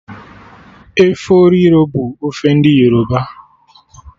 Efọriro bụ ofe ndị Yoruba